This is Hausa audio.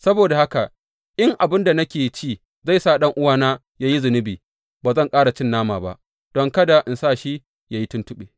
Saboda haka, in abin da nake ci zai sa ɗan’uwana yă yi zunubi, ba zan ƙara cin nama ba, don kada in sa shi yă yi tuntuɓe.